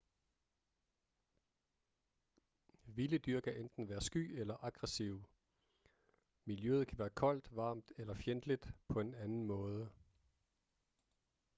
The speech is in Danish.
vilde dyr kan enten være sky eller aggressive miljøet kan være koldt varmt eller fjendtligt på en anden måde